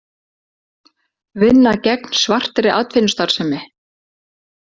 Vinna gegn svartri atvinnustarfsemi